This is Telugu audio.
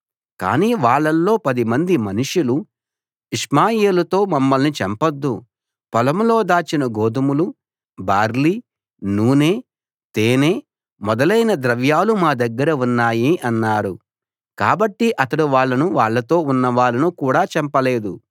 కాని వాళ్ళల్లో పదిమంది మనుషులు ఇష్మాయేలుతో మమ్మల్ని చంపొద్దు పొలంలో దాచిన గోధుమలు బార్లీ నూనె తేనె మొదలైన ద్రవ్యాలు మా దగ్గర ఉన్నాయి అన్నారు కాబట్టి అతడు వాళ్ళను వాళ్ళతో ఉన్నవాళ్ళను కూడా చంపలేదు